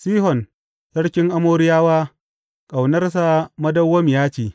Sihon sarkin Amoriyawa Ƙaunarsa madawwamiya ce.